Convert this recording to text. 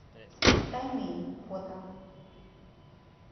таймень фото